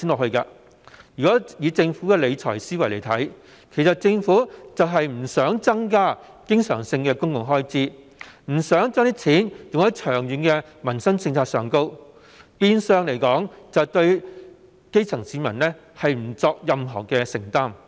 按照政府的理財思維，政府不想增加經常性公共開支，不想把錢用在長遠的民生政策上，變相對基層市民不作任何承擔。